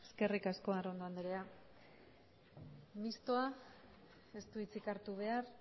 eskerrik asko arrondo anderea mistoa ez du hitzik hartu behar